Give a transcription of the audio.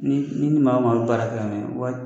Ni ni n'i i ni maa maa bɛ baara kɛ ka waati